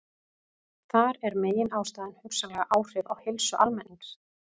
Þar er meginástæðan hugsanleg áhrif á heilsu almennings.